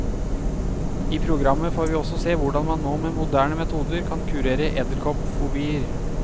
I programmet får vi også se hvordan man nå med moderne metoder kan kurere edderkoppfobier.